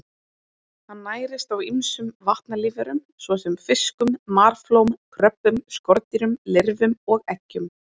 Hann nærist á ýmsum vatnalífverum svo sem fiskum, marflóm, kröbbum, skordýrum, lirfum og eggjum.